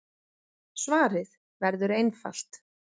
Svarið verður einfalt.